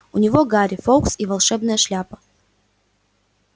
у него гарри фоукс и волшебная шляпа